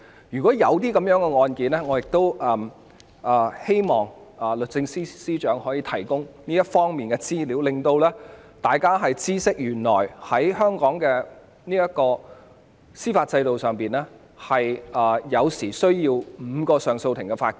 如果過往確曾有這類案件，我希望律政司司長可以提供這方面的資料，讓大家知悉原來在香港的司法制度下，有時候需要5名上訴法庭法官。